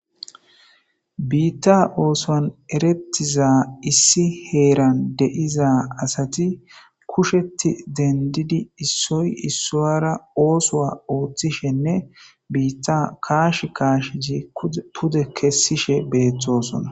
Biita oosuwan eretiza issi heeran diza asati kuusheti dendidi issuy issuwara oosuwa oothishene biita kaashi kaashi pude kesishe beetosona.